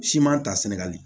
Siman ta sɛnɛgali